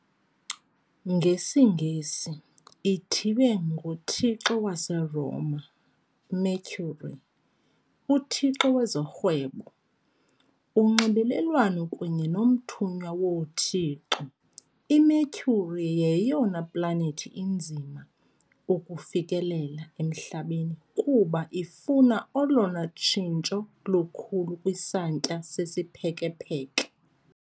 NgesiNgesi, ithiywe ngothixo waseRoma, Mercury , uthixo wezorhwebo, unxibelelwano kunye nomthunywa woothixo. IMercury yeyona planethi inzima ukufikelela eMhlabeni kuba ifuna olona tshintsho lukhulu kwisantya sesiphekepheke.